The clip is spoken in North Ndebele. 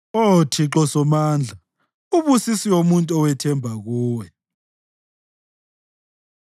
Oh Thixo Somandla, ubusisiwe umuntu owethemba kuwe.